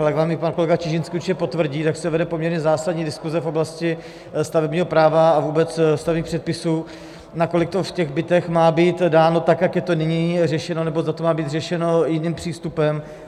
Ale jak vám i pan kolega Čižinský určitě potvrdí, tak se vede poměrně zásadní diskuze v oblasti stavebního práva a vůbec stavebních předpisů, nakolik to v těch bytech má být dáno tak, jak je to nyní řešeno, nebo zda to má být řešeno jiným přístupem.